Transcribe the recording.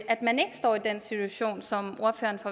at man ikke står i den situation som